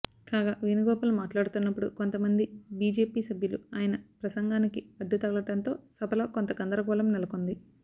కాగా వేణుగోపాల్ మాట్లాడుతున్నప్పుడు కొంతమంది బిజెపి సభ్యులు ఆయన ప్రసంగానికి అడ్డుతగలడంతో సభలో కొంత గందరగోళం నెలకొంది